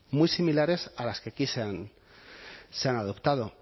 muy similares a las que aquí se han adoptado